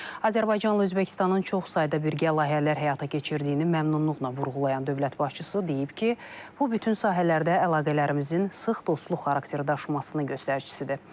Azərbaycanla Özbəkistanın çoxsayda birgə layihələr həyata keçirdiyini məmnunluqla vurğulayan dövlət başçısı deyib ki, bu bütün sahələrdə əlaqələrimizin sıx dostluq xarakteri daşımasının göstəricisidir.